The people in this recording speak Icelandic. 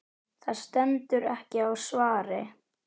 Það stendur ekki á svari.